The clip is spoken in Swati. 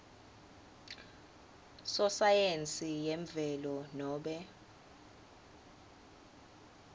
sosayensi yemvelo nobe